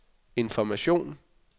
information